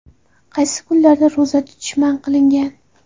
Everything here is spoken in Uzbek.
Qaysi kunlarda ro‘za tutish man qilingan?.